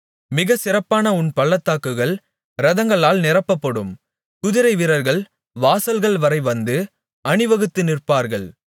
மிகச் சிறப்பான உன் பள்ளத்தாக்குகள் இரதங்களால் நிரப்பப்படும் குதிரைவீரர்கள் வாசல்கள் வரை வந்து அணிவகுத்து நிற்பார்கள்